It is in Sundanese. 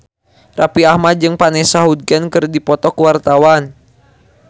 Raffi Ahmad jeung Vanessa Hudgens keur dipoto ku wartawan